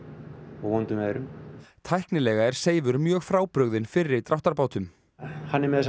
og vondum veðrum tæknilega er Seifur mjög frábrugðinn fyrri dráttarbátum hann er með þessar